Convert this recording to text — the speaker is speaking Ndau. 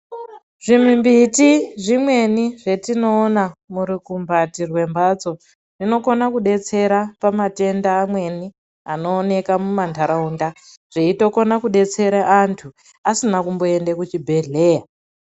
Zvimimbiti zvimweni zvetinoona murukumbati mwemhatso zvinokona kudetsera pamatenda amweni anooneka mumantaraunda zveitokona kundodetsera antu asina kumboenda kuzvibhedhleya.